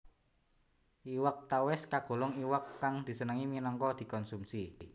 Iwak tawès kagolong iwak kang disenengi minangka dikonsumsi